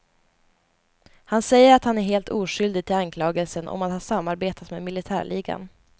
Han säger att han är helt oskyldig till anklagelsen om att ha samarbetat med militärligan.